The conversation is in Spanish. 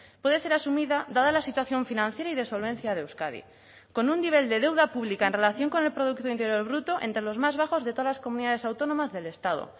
puede ser asumida dada la situación financiera y de solvencia de euskadi con un nivel de deuda pública en relación con el producto interior bruto entre los más bajos de todas las comunidades autónomas del estado